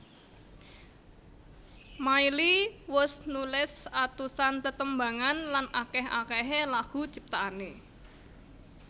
Miley wus nulis atusan tetembangan lan akeh akehé lagu ciptaané